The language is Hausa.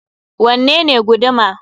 Wanne ne guduma?